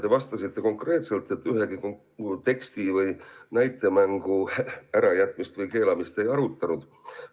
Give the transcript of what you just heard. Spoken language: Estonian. Te vastasite konkreetselt, et ühegi teksti või näitemängu ärajätmist või keelamist te ei arutanud.